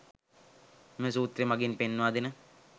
මෙම සූත්‍රය මගින් පෙන්වාදෙන